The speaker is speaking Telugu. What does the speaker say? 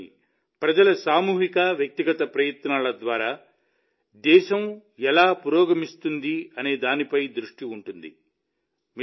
దేశంలోని ప్రజల సామూహిక వ్యక్తిగత ప్రయత్నాల ద్వారా దేశం ఎలా పురోగమిస్తుందనే దానిపై దృష్టి ఉంటుంది